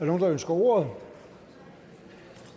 nogen der ønsker ordet da